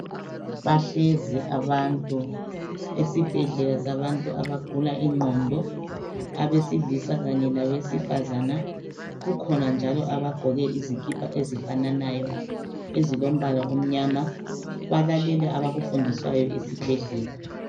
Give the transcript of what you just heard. Bahlezi abantu esibhedlela sabantu abagula ingqondo, abesilisa kanye labesifazana, kukhona njalo abaqoke izikipa ezifananayo ezilombala omnyama balalele abakufundiswayo esibhedlela.